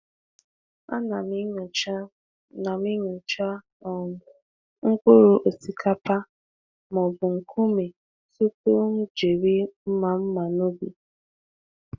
A na m enyocha na m enyocha um mkpụrụ osikapa ma ọ bụ nkume tupu m jiri mma mma n’ubi.